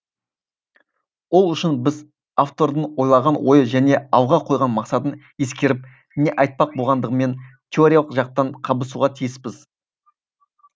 ол үшін біз автордың ойлаған ойы және алға қойған мақсатын ескеріп не айтпақ болғандығымен теориялық жақтан қабысуға тиіспіз